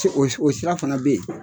O sira fana bɛ yen.